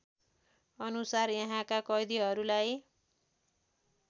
अनुसार यहाँका कैदीहरूलाई